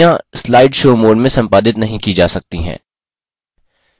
प्रस्तुतियाँ slide show mode में संपादित नहीं की जा सकती हैं